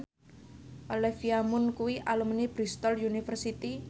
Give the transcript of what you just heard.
Olivia Munn kuwi alumni Bristol university